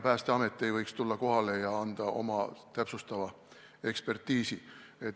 Päästeamet võib ikka tulla kohale ja anda oma täpsustava hinnangu.